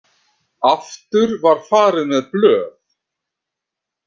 Aftur var farið með blöð.